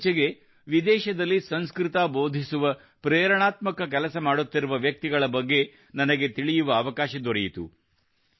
ಇತ್ತೀಚೆಗೆ ವಿದೇಶದಲ್ಲಿ ಸಂಸ್ಕೃತ ಬೋಧಿಸುವ ಪ್ರೇರಣಾತ್ಮಕ ಕೆಲಸ ಮಾಡುತ್ತಿರುವ ವ್ಯಕ್ತಿಗಳ ಬಗ್ಗೆ ನನಗೆ ತಿಳಿಯುವ ಅವಕಾಶ ದೊರೆಯಿತು